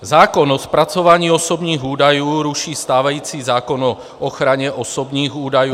Zákon o zpracování osobních údajů ruší stávající zákon o ochraně osobních údajů -